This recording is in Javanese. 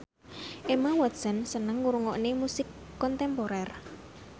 Emma Watson seneng ngrungokne musik kontemporer